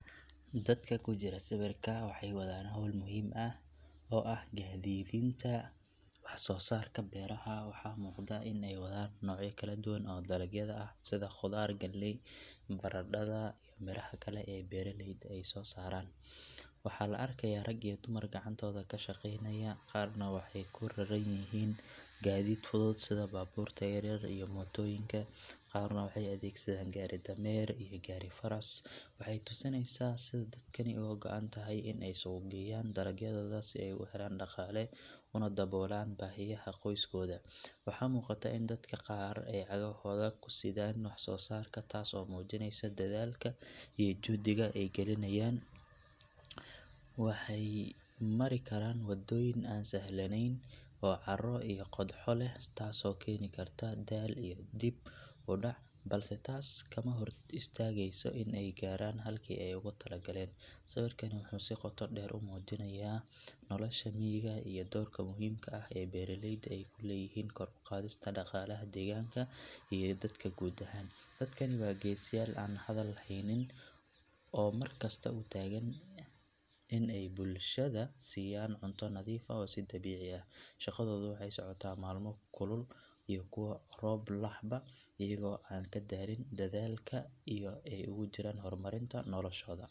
Dadkan ku jira sawirka waxay wadaan hawl muhiim ah oo ah gaadiidinta wax soo saarka beeraha. Waxaa muuqata in ay wadaan noocyo kala duwan oo dalagyada ah sida khudaar, galley, baradhada, iyo miraha kale ee beeraleyda ay soo saareen. Waxaa la arkayaa rag iyo dumar gacantooda ka shaqaynaya, qaarna waxay ku raran yihiin gaadiid fudud sida baabuurta yaryar iyo mootoyinka, qaarna waxay adeegsadaan gaari-dameer iyo gaari-faras. Waxay tusinaysaa sida dadkani uga go’an tahay in ay suuq geyaan dalagyadooda si ay u helaan dhaqaale una daboolaan baahiyaha qoyskooda. Waxaa muuqata in dadka qaar ay cagahooda ku sidaan wax soo saarka taas oo muujinaysa dadaalka iyo juhdiga ay gelinayaan. Waxay mari karaan waddooyin aan sahlanayn oo carro iyo qodxo leh taasoo keeni karta daal iyo dib u dhac, balse taas kama hor istaagayso in ay gaaraan halkii ay ugu talo galeen. Sawirkani wuxuu si qoto dheer u muujinayaa nolosha miyiga iyo doorka muhiimka ah ee beeraleyda ay ku leeyihiin kor u qaadista dhaqaalaha deegaanka iyo dalka guud ahaan. Dadkani waa geesiyaal aan la hadal haynin oo mar kasta u taagan in ay bulshada siiyaan cunto nadiif ah oo dabiici ah. Shaqadoodu waxay socotaa maalmo kulul iyo kuwo roob lehba iyagoo aan ka daalin dadaalka ay ugu jiraan horumarinta noloshooda.